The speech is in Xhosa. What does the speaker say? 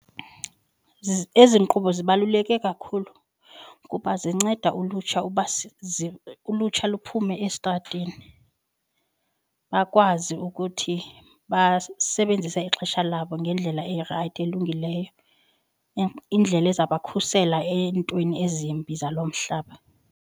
Ezi nkqubo zibaluleke kakhulu kuba zinceda ulutsha uba ulutsha luphume estrateni. Bakwazi ukuthi basebenzise ixesha labo ngendlela erayithi elungileyo indlela ezawubakhusela eentweni ezimbi zalo mhlaba.